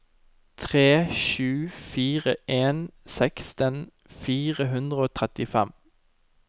tre sju fire en seksten fire hundre og trettifem